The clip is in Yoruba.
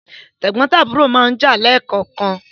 Tẹ̀gbọ́ntàbúrò máa ń jà leè kọ̀ọ̀kan